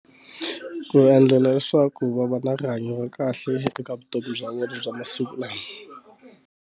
Ku endlela leswaku va va na rihanyo ra kahle eka vutomi bya vona bya masiku ma yena.